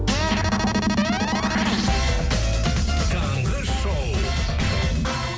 таңғы шоу